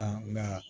nka